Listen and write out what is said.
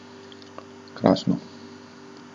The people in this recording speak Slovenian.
Krasno.